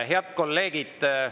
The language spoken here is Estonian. Head kolleegid!